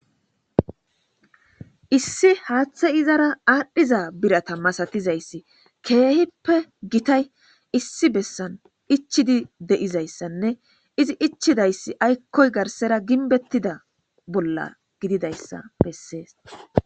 Issi haaththey iizara adhdhiza biiratta masatizayssi kehippe giittay issi bessan ichchidi deiizayssanne izzi ichchidayssi aykkoy garssera giinbbetida bolla giddidayssa besses.